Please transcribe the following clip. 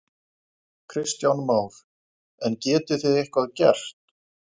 Kristján Már: En getið þið eitthvað gert?